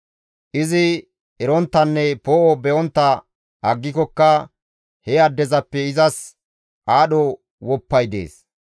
Izi eronttanne poo7o be7ontta aggikokka he addezappe izas aadho woppay dees.